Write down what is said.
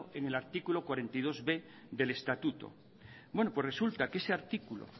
en el artículo cuarenta y dosb del estatuto bueno pues resulta que ese artículo